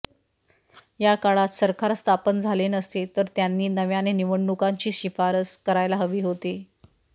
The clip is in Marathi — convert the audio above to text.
या काळात सरकार स्थापन झाले नसते तर त्यांनी नव्याने निवडणुकांची शिफारस करायला हवी होती